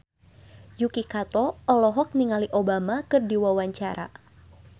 Yuki Kato olohok ningali Obama keur diwawancara